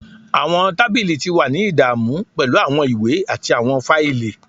Awọn tabili ti wa ni idamu pẹlu awọn iwe ati awọn faili.